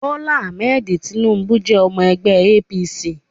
Bola Ahmed Tinubu jẹ́ ọmọ ẹgbẹ́ APC